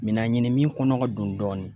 Mina ɲini min kɔnɔ ka dun dɔɔnin